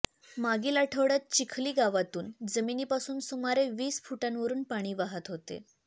मागील आठवड्यात चिखली गावातून जमिनीपासून सुमारे वीस फुटांवरून पाणी वाहत होते